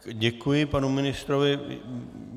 Děkuji panu ministrovi.